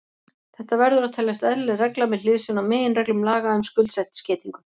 Þetta verður að teljast eðlileg regla með hliðsjón af meginreglum laga um skuldskeytingu.